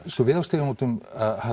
sko við á Stígamótum